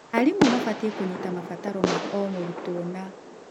Arimũ mabatie kũnyita mabataro ma o mũrutwo na